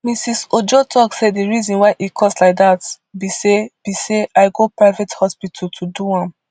mrs ojo tok say di reason why e cost like dat be say be say i go private hospital to do am